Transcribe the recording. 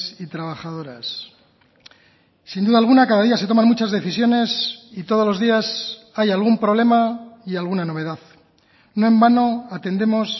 y trabajadoras sin duda alguna cada día se toman muchas decisiones y todos los días hay algún problema y alguna novedad no en vano atendemos